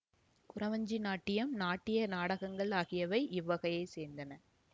குறவஞ்சி நாட்டியம் நாட்டிய நாடகங்கள் ஆகியவை இவ்வகையைச் சேர்ந்தன